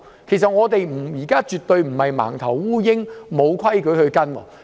其實我們現在絕非像"盲頭烏蠅"般，沒有規矩可循。